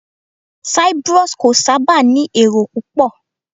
Cyprus kò sábà ní èrò púpọ̀